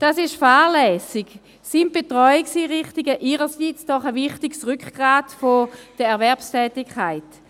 Dies ist fahrlässig, sind Betreuungseinrichtungen ihrerseits doch ein wichtiges Rückgrat der Erwerbstätigkeit.